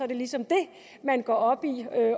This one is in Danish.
det ligesom det man går op i